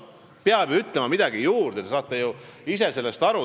Peab ju midagi juurde ütlema, te saate ise ka sellest aru.